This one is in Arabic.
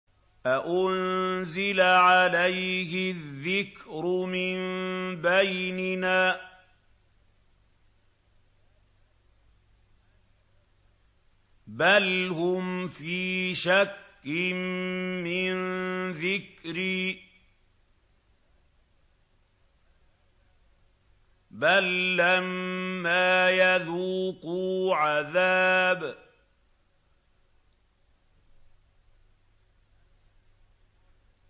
أَأُنزِلَ عَلَيْهِ الذِّكْرُ مِن بَيْنِنَا ۚ بَلْ هُمْ فِي شَكٍّ مِّن ذِكْرِي ۖ بَل لَّمَّا يَذُوقُوا عَذَابِ